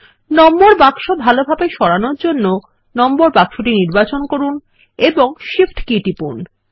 নম্বর বাক্স ভালোভাবে সরানোর জন্য নম্বর বাক্স নির্বাচন করুন এবং শিফট কী টিপুন